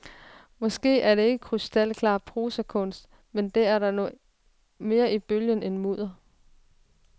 Måske er det ikke krystalklar prosakunst, men der er nu mere i bølgen end mudder.